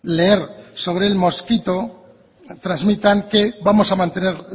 leer sobre el mosquito transmitan que vamos a mantener